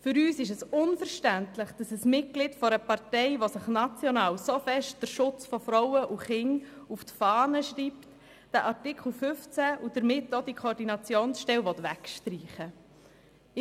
Für uns ist es unverständlich, dass das Mitglied einer Partei, die sich national so stark den Schutz von Frauen und Kindern auf die Fahne schreibt, Artikel 15 und damit auch die Koordinationsstelle wegstreichen will.